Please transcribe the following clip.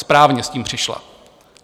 Správně s tím přišla.